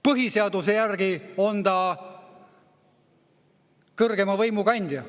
Põhiseaduse järgi on ta kõrgeima võimu kandja.